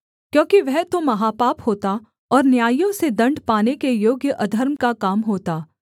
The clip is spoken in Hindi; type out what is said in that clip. क्योंकि वह तो महापाप होता और न्यायियों से दण्ड पाने के योग्य अधर्म का काम होता